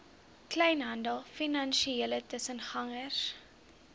kleinhandel finansiële tussengangers